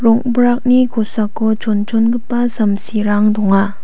rong·brakni kosako chonchongipa samsirang donga.